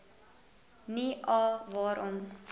nie a waarom